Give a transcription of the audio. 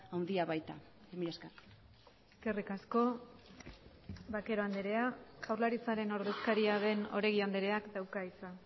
handia baita mila esker eskerrik asko vaquero andrea jaurlaritzaren ordezkaria den oregi andreak dauka hitza